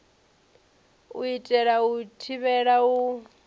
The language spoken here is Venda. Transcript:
u itela u thivhela u